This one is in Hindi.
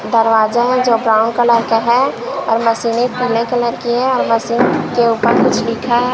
दरवाजा है जो ब्राउन कलर का है और मशीनें पीले कलर की है। मशीन के ऊपर कुछ लिखे है।